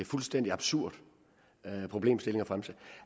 fuldstændig absurd problemstilling